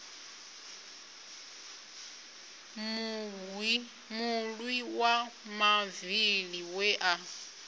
mulwi wa mavili we a